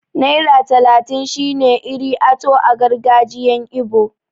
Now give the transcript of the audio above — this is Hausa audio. Naira talatin shine 'Iri ato' a gargajiyan ibo.